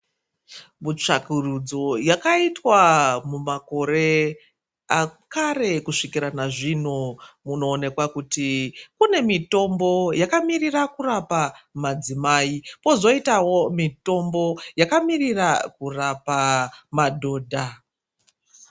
Mutsvakurudzo yakaitwa mumakore akare kusvikirwa nazvino munoonekwa kuti kune mitombo yakamirira kurapa madzimai kwozoitawo mitombo yakamirira kurapa madhodha.